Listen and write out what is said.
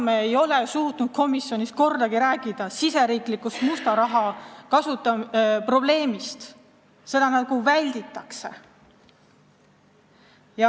Me ei ole suutnud komisjonis kordagi riigisisesest musta raha probleemist rääkida, seda nagu välditakse.